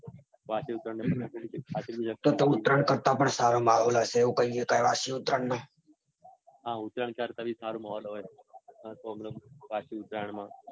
વાસી ઉત્તરાયણ તો તો ઉત્તરાયણ કરતા બી સારો માહોલ હશે એવું કાઈએ તો વાસી ઉત્તરાયણનો. હા ઉત્તરાયણ કરતા બી સારો માહોલ હશે. મતલબ વાસી ઉત્તરાયણમાં